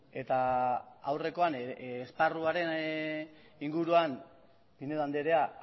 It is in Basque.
eta aurrekoan esparruaren inguruan pinedo andrea